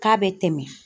K'a bɛ tɛmɛ